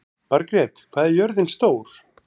Margret, hvað er jörðin stór?